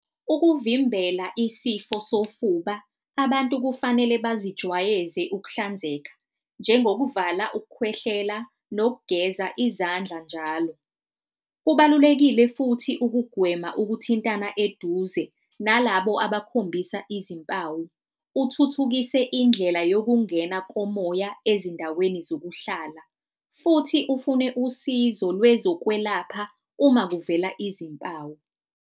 Ukuvimbela isifo sofuba, abantu kufanele baziwayeze ukuhlanzeka, njengokuvala ukukhwehlela nokugeza izandla njalo. Kubalulekile futhi ukugwema ukuthintana eduze nalabo abakhombisa izimpawu. Uthuthukise indlela yokungena komoya ezindaweni zokuhlala futhi ufune usizo lwezokwelapha uma kuvela izimpawu.